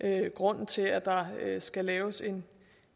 er grunden til at der skal laves en